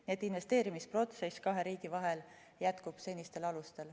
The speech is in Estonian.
Nii et investeerimise protsess kahe riigi vahel jätkub senistel alustel.